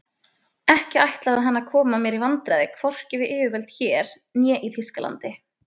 Ekki ætlaði hann að koma mér í vandræði hvorki við yfirvöld hér né í Þýskalandi.